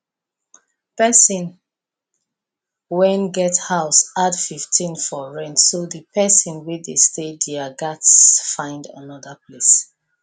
person when get house add 15 for rent so the person wey dey stay there gats find another place